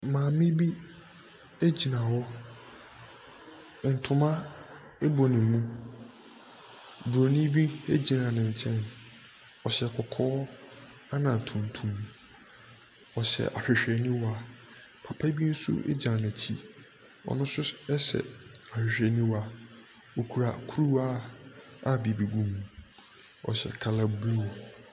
Maame bi gyina hɔ. ntoma bɔ ne mu. Buronui bi gyina ne nkyɛn. Ↄhyɛ kɔkɔɔ ɛna tuntum. Ↄhyɛ ahwehwɛniwa. Papa bi nso gyina n’akyi. Xno nso hyɛ ahwehwɛniwa. Ↄkura kuruwa a biribi gu mu. Ↄhyɛ colour blue.